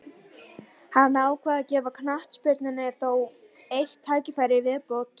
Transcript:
Hann ákvað að gefa knattspyrnunni þó eitt tækifæri í viðbót.